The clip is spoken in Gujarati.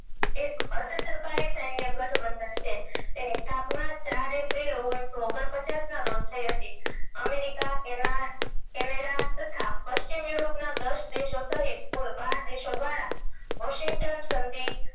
એની સ્થાપના ચાર એપ્રિલ ઓગણસો પછાસ ના રોજ થયી હતી america તેના canada તથા પશ્ચિમ europe ના દસ દેશો સહિત કુલ બાર દેશો દ્વારા washington સંધિ